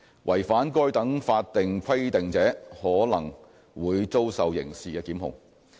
違反該等法定規定者可能會遭受刑事檢控。